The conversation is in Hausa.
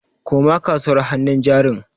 Koma kasuwar hannun jarin.